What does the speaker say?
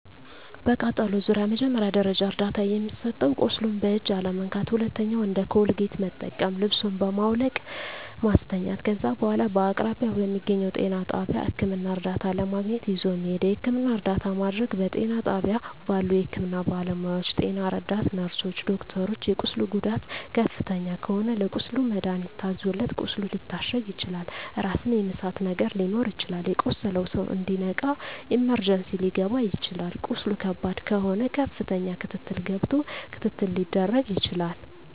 በቃጠሎ ዙሪያ መጀመሪያ ደረጃ እርዳታ የሚሰጠዉ ቁስሉን በእጅ አለመንካት ሁለተኛዉ እንደ ኮልጌት መጠቀም ልብሱን በማዉለቅ ማስተኛት ከዛ በኋላ በአቅራቢያዎ በሚገኘዉ ጤና ጣቢያ ህክምና እርዳታ ለማግኘት ይዞ መሄድ የህክምና እርዳታ ማድረግ በጤና ጣቢያ ባሉ የህክምና ባለሞያዎች ጤና ረዳት ነርስሮች ዶክተሮች የቁስሉ ጉዳት ከፍተኛ ከሆነ ለቁስሉ መድሀኒት ታዞለት ቁስሉ ሊታሸግ ይችላል ራስን የመሳት ነገር ሊኖር ይችላል የቆሰለዉ ሰዉ እንዲነቃ ኢመርጀንሲ ሊከባ ይችላል ቁስሉ ከባድ ከሆነ ከፍተኛ ክትትል ገብቶ ክትትል ሊደረግ ይችላል